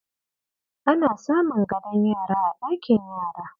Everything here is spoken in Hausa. Ana samun gadon yara a ɗakin yara.